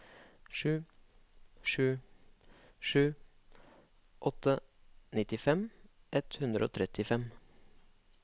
sju sju sju åtte nittifem ett hundre og trettifem